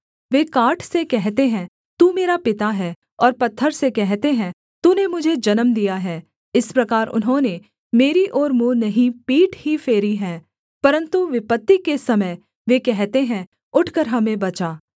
वे काठ से कहते हैं तू मेरा पिता है और पत्थर से कहते हैं तूने मुझे जन्म दिया है इस प्रकार उन्होंने मेरी ओर मुँह नहीं पीठ ही फेरी है परन्तु विपत्ति के समय वे कहते हैं उठकर हमें बचा